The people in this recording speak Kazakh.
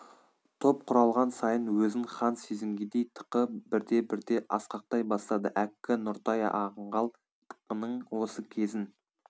топ құралған сайын өзін хан сезінгендей тықы бірте-бірте асқақтай бастады әккі нұртай аңғал тықының осы кезін